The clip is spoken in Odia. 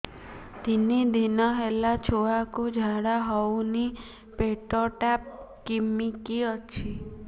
ତିନି ଦିନ ହେଲା ଛୁଆକୁ ଝାଡ଼ା ହଉନି ପେଟ ଟା କିମି କି ଅଛି